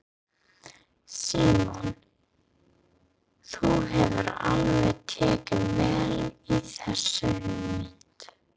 Símon: Þú hefur alveg tekið vel í þessa hugmynd?